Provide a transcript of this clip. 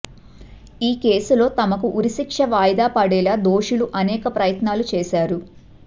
ఈ కేసులో తమకు ఉరిశిక్ష వాయిదా పడేలా దోషులు అనేక ప్రయత్నాలూ చేశారు